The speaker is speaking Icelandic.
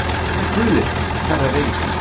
Hvað heita guðir hverrar reikistjörnu?